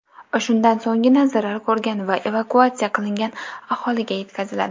Shundan so‘nggina zarar ko‘rgan va evakuatsiya qilingan aholiga yetkaziladi.